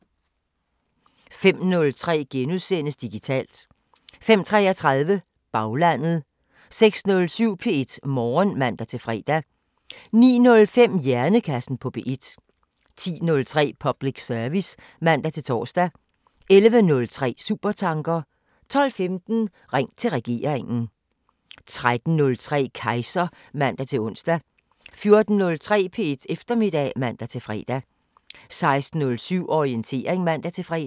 05:03: Digitalt * 05:33: Baglandet 06:07: P1 Morgen (man-fre) 09:05: Hjernekassen på P1 10:03: Public service (man-tor) 11:03: Supertanker 12:15: Ring til regeringen 13:03: Kejser (man-ons) 14:03: P1 Eftermiddag (man-fre) 16:07: Orientering (man-fre)